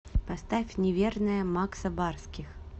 поставь неверная макса барских